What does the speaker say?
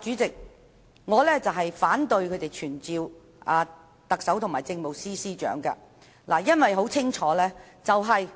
主席，我反對他們傳召特首及政務司司長，因為時任